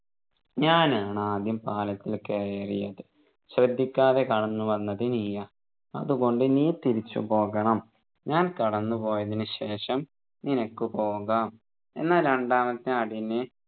ഞാനാണ് ആദ്യം പാലത്തിൽ കയറിയത് ശ്രദ്ധിക്കാതെ കടന്നുവന്നത് നീയാ അതുകൊണ്ട് നീ തിരിച്ചുപോകണം ഞാൻ കടന്നു പോയതിനു ശേഷം നിനക്കു പോകാം എന്നാൽ രണ്ടാമത്തെ ആടിനെ